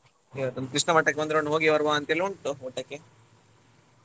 ಇವತ್ತ್ ಒಂದ್ ಕೃಷ್ಣ ಮಠಕ್ಕೆ ಒಂದ್ round ಹೋಗಿ ಬರುವ ಅಂತ್ ಹೇಳಿ ಉಂಟು ಊಟಕ್ಕೆ.